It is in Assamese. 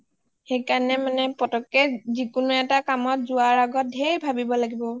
সেইকাৰণে মানে পতককে যিকোনো এটা কামত যোৱাৰ আগত ঢেৰ ভাবিব লাগিব